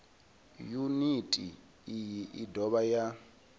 yuniti iyi i dovha ya